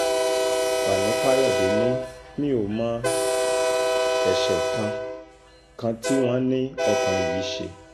fani káyọ̀dé ni mi ò mọ ẹ̀ṣẹ̀ kan kan tí wọ́n ní ọkùnrin yìí ṣe